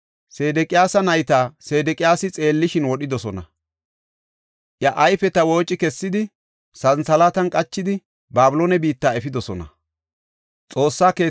Sedeqiyaasa nayta, Sedeqiyaasi xeellishin wodhidosona. Iya ayfeta wooci kessidi, santhalaatan qachidi, Babiloone biitta efidosona.